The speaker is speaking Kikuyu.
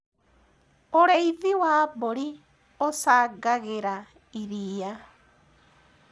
ũrĩithi wa mburi ucangagira iria